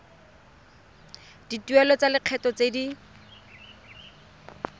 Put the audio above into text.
dituelo tsa lekgetho tse di